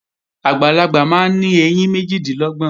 Àgbàlagbà máa ń ní ẹyín méjìlélọ́gbọ̀n